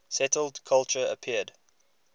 settled culture appeared